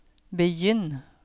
begynn